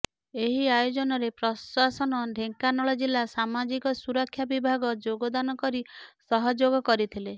ଏହି ଆୟୋଜନରେ ପ୍ରଶାସନ ଢେଙ୍କାନାଳ ଜିଲ୍ଲା ସାମାଜିକ ସୁରକ୍ଷା ବିଭାଗ ଯୋଗଦାନ କରି ସହଯୋଗ କରିଥିଲେ